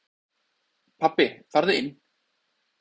Pabbi farðu inn!